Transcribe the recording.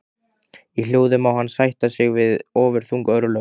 Í hljóði má hann sætta sig við ofurþung örlög.